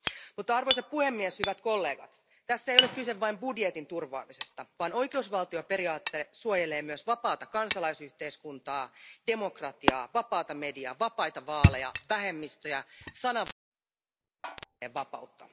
Mutta arvoisa puhemies, hyvät kollegat, tässä ei ole kyse vain budjetin turvaamisesta vaan oikeusvaltioperiaate suojelee myös vapaata kansalaisyhteiskuntaa, demokratiaa, vapaata mediaa, vapaita vaaleja, vähemmistöjä ja sananvapautta.